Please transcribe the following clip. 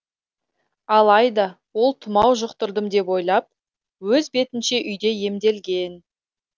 алайда ол тұмау жұқтырдым деп ойлап өз бетінше үйде емделген